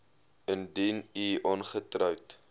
indien u ongetroud